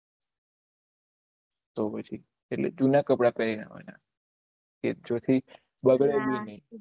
તો પછી એટલે જુના કપડા પેહરી ને આવાના બગડે ભી નહી